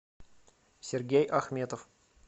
сергей ахметов